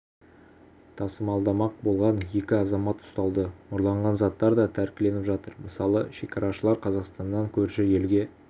тасымалдамақ болған екі азамат ұсталды ұрланған заттар да тәркіленіп жатыр мысалы шекарашылар қазақстаннан көрші елге